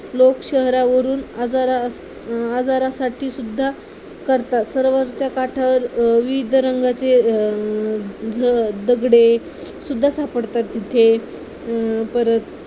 लोक शहरावरून आजरा आजरासाठी सुद्धा करतात सरोवराच्या काठावर विविध रंगाचे अं दगडे सुद्धा सापडतात तिथे परत